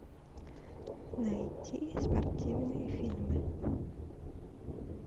найти спортивные фильмы